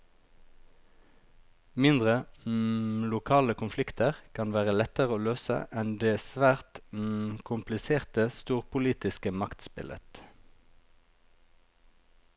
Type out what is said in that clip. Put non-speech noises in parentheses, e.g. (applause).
Mindre, (hesitation) lokale konflikter kan være lettere å løse enn det svært (hesitation) kompliserte, storpolitiske maktspillet.